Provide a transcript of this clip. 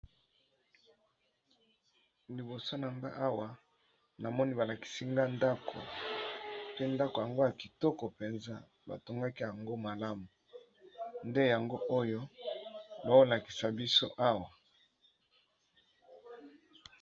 Liboso na ngai awa namoni balakisi biso ndaku, pe ndaku yango tomoni ezali bongo kitoko makasi